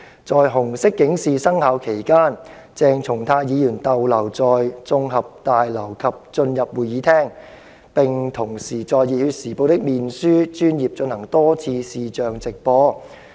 在紅色警示生效期間，鄭松泰議員逗留在綜合大樓及進入會議廳，並同時在《熱血時報》的面書專頁進行多次視像直播"。